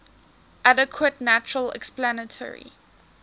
adequate natural explanatory